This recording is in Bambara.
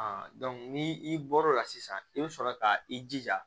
ni i bɔr'o la sisan i bɛ sɔrɔ ka i jija